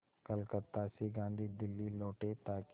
कलकत्ता से गांधी दिल्ली लौटे ताकि